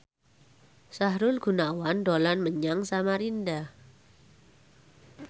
Sahrul Gunawan dolan menyang Samarinda